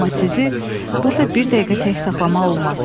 Amma sizi burda bir dəqiqə tək saxlamaq olmaz.